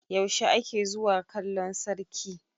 yaushe ake zuwa kallon sarki?